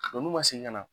n'u ma se ka na